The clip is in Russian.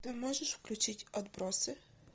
ты можешь включить отбросы